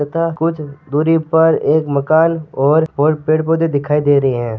तथा कुछ दूरी पे मकान है और बहुत पेड़ पौधे दिखाई दे रहे है।